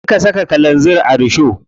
Su suka saka kalanzir a risho.